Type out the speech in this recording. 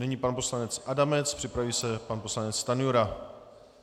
Nyní pan poslanec Adamec, připraví se pan poslanec Stanjura.